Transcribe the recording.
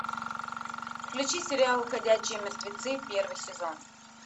включи сериал ходячие мертвецы первый сезон